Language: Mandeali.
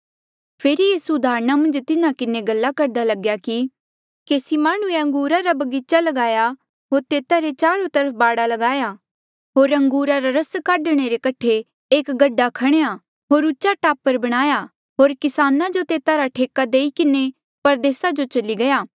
फेरी यीसू उदाहरण मन्झ तिन्हा किन्हें गल्ला करदा लग्या कि केसी माह्णुंऐ अंगूरा रा बगीचा ल्गाया होर तेता रे चारो तरफ बाड़ ल्गाया होर अंगूरा रा रस काढणे रे कठे एक गड्ढा खणेया होर उचा टापरा बणाया होर किसान जो तेता रा ठेका देई किन्हें परदेसा जो चली गया